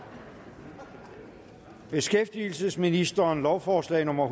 beskæftigelsesministeren lovforslag nummer